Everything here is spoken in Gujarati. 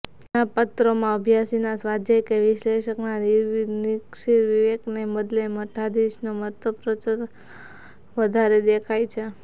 ઘણાં પત્રોમાં અભ્યાસીના સ્વાધ્યાય કે વિશ્લેષકના નિરક્ષીરવિવેકને બદલે મઠાધીશનો મતપ્રચારોત્સાહ વધારે દેખાય છે